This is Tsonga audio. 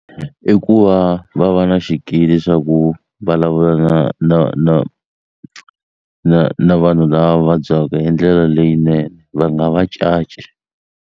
I ku va va va na xikili leswaku vulavula na na na na na vanhu lava vabyaka hi ndlela leyinene va nga va caci.